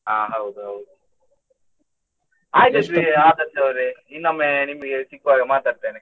ಅಹ್ ಹೌದು ಹೌದು ಆದರ್ಶ್ ನವ್ರೆ ಇನ್ನೊಮ್ಮೆ ನಿಮ್ಗೆ ಸಿಗ್ವಾಗ ಮಾತಾಡ್ತೇನೆ.